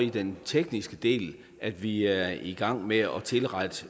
i den tekniske del at vi er i gang med at tilrette